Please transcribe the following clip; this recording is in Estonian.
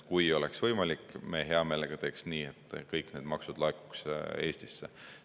Kui oleks võimalik, me hea meelega teeks nii, et kõik need maksud laekuks Eestisse.